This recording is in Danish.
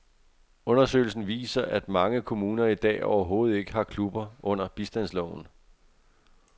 Undersøgelsen viser, at mange kommuner i dag overhovedet ikke har klubber under bistandsloven.